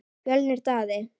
Fjölnir Daði.